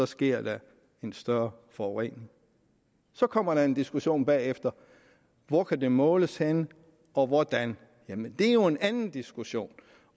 sker der en større forurening så kommer der en diskussion bagefter hvor kan det måles henne og hvordan det er jo en anden diskussion